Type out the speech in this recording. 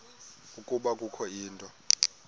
ukuba kukho into